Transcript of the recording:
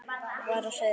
var á seyði.